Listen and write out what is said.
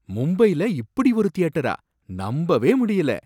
மும்பைல இப்படி ஒரு தியேட்டரா! நம்பவே முடியல